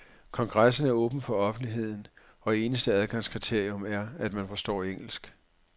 Kongressen er åben for offentligheden, og eneste adgangskriterium er, at man forstår engelsk.